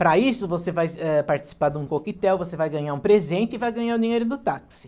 Para isso, você vai, eh, participar de um coquetel, você vai ganhar um presente e vai ganhar o dinheiro do táxi.